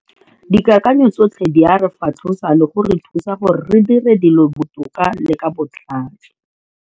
Dikakanyo tsotlhe di a re fatlhosa le go re thusa gore re dire dilo botoka le ka botlhale.